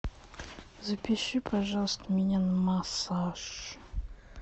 запиши пожалуйста меня на массаж